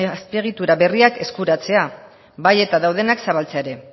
azpiegitura berriak eskuratzea bai eta daudenak zabaltzea ere